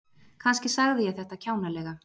Kannski sagði ég þetta kjánalega.